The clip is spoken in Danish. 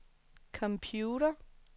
computer